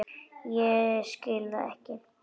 Ég skil það ekki!